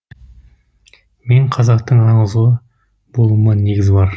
мен қазақтың аңыз ұлы болуыма негіз бар